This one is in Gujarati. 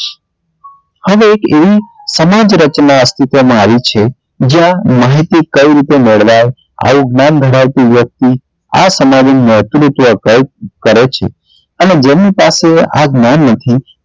હવે એક સમજ રચના અસ્તિત્વ માં આવી છે જ્યાં માહિતી કઈ રીતે મેળવાય આવું જ્ઞાન ભણાવતી વ્યક્તિ આ સમાજ નું નેતૃત્વ કઈક કરે છે અને જેમની પાસે આ જ્ઞાન નથી